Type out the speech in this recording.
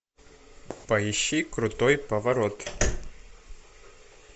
поищи крутой поворот